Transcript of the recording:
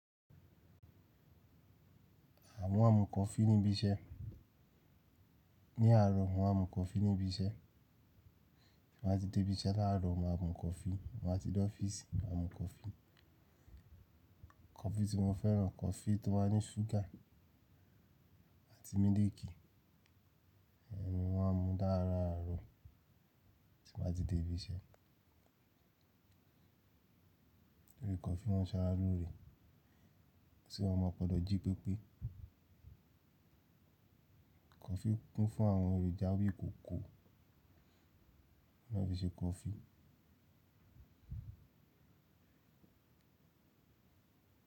À mọ́ máa ń mú kọfí níbi iṣẹ́. Ni àárọ̀ mọ̀ máà ń mu kọfí níbi iṣẹ́. Wọ́n á ti dé ibi iṣẹ́ láàrọ̀ wọn á mu kọfí. Ko EASY kọfí tí mo fẹ́ràn, kọfí tó wá ní ṣúgà àti mílìkì. Ẹ̀ni wọn á mu dáradára àárọ̀ tí wọn á ti dé ibi iṣẹ́. Orí kọfí wọ́n ń ṣe alúre, tí wọn máa padà jí pépé. Kọfí kún fún àwọn èròjà wíì koko ló fi ṣe kọfí.